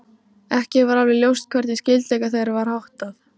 Ekki var alveg ljóst hvernig skyldleika þeirra var háttað.